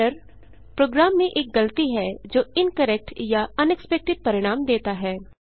error program में एक गलती है जो इनकरेक्ट या अनएक्सपेक्टेड परिणाम देता है